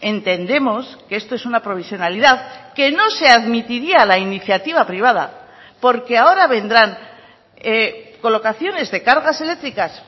entendemos que esto es una provisionalidad que no se admitiría la iniciativa privada porque ahora vendrán colocaciones de cargas eléctricas